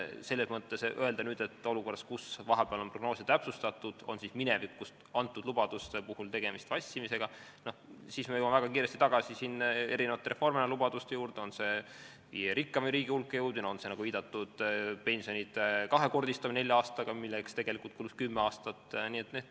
Selles mõttes, kui öelda, et olukorras, kus vahepeal on prognoose täpsustatud, on minevikust antud lubaduste puhul tegemist vassimisega, siis me jõuame väga kiiresti tagasi Reformierakonna lubaduste juurde, on see siis viie rikkaima riigi hulka jõudmine või on see, nagu viidatud, pensionide kahekordistamine nelja aastaga, milleks tegelikult kulus kümme aastat.